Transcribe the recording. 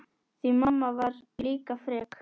Því mamma var líka frek.